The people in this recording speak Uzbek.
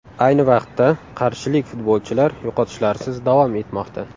Ayni vaqtda qarshilik futbolchilar yo‘qotishlarsiz davom etmoqda.